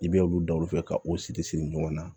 I bɛ olu da olu fɛ ka o siri siri ɲɔgɔn na